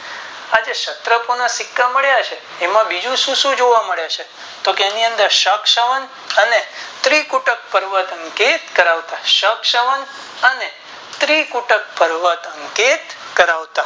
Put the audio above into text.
આજે ક્ષત્રો ના સિક્કા મળ્યા છે એમાં બીજું શું શું જોવા મળે છે તો કે એની અંદર સત્સંગ અને ત્રીકુર્ટ કરવટો અંકિત કરવામાં